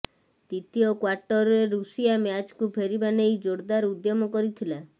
ଦ୍ୱିତୀୟ କ୍ୱାର୍ଟରରେ ରୁଷିଆ ମ୍ୟାଚକୁ ଫେରିବା ନେଇ ଜୋରଦାର ଉଦ୍ୟମ କରିଥିଲା